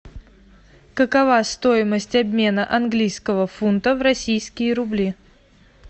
какова стоимость обмена английского фунта в российские рубли